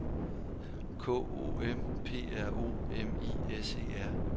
K O M P R O M I S E R